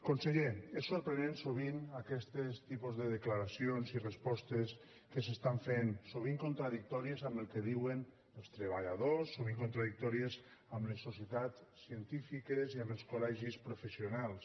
conseller és sorprenent sovint aquests tipus de declaracions i respostes que s’estan fent sovint contradictòries amb el que diuen els treballadors sovint contradictòries amb les societats científiques i amb els col·legis professionals